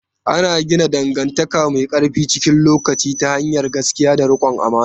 Ana gina dangantaka mai ƙarfi cikin lokaci ta hanyar gaskiya da riƙon amana.